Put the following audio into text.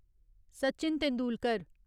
Sachin Tendulkar